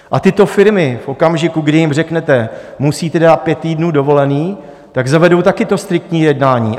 A tyto firmy v okamžiku, kdy jim řeknete: Musíte dát pět týdnů dovolené, tak zavedou také to striktní jednání.